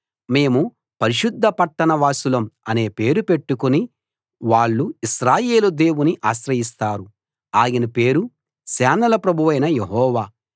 మేము పరిశుద్ధ పట్టణవాసులం అనే పేరు పెట్టుకుని వాళ్ళు ఇశ్రాయేలు దేవుని ఆశ్రయిస్తారు ఆయన పేరు సేనల ప్రభువైన యెహోవా